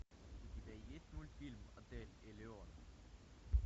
у тебя есть мультфильм отель элеон